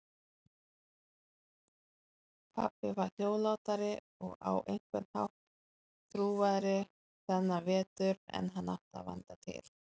Pabbi var hljóðlátari og á einhvern hátt þrúgaðri þennan vetur en hann átti vanda til.